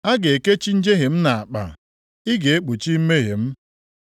A ga-ekechi njehie m nʼakpa, ị ga-ekpuchi mmehie m.